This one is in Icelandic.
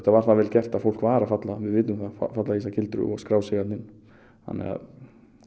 var það vel gert að fólk var að falla við vitum það falla í þessa gildru og skrá sig þanrna inn